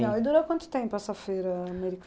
E durou quanto tempo essa feira